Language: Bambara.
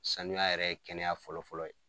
Sanuya yɛrɛ ye kɛnɛya fɔlɔ fɔlɔ ye.